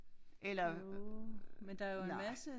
Eller nej